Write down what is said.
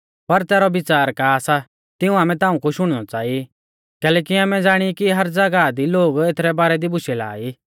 पर तैरौ विच़ार का सा तिऊं आमै ताऊं कु शुणनौ च़ांई कैलैकि आमै ज़ाणी कि हर ज़ागाह दी लोग एथरै बारै दी बुशै ला ई